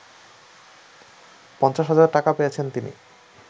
৫০ হাজার টাকা পেয়েছেন তিনি